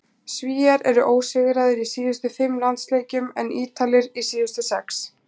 Svíar eru ósigraðir í síðustu fimm landsleikjum en Ítalir í síðustu sex.